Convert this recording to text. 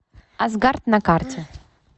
асгард на карте